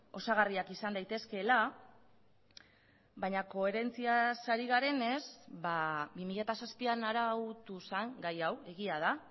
osagarriak izan daitezkeela baina koherentziaz ari garenez bi mila zazpian arautu zen gai hau egia da